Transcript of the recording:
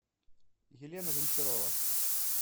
елена гончарова